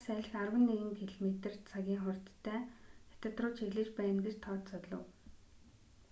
хар салхи арван нэг км/цагийн хурдтай хятад руу чиглэж байна гэж тооцоолов